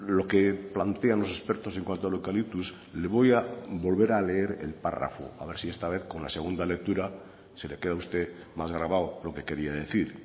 lo que plantean los expertos en cuanto al eucalyptus le voy a volver a leer el párrafo a ver si esta vez con la segunda lectura se le queda a usted más grabado lo que quería decir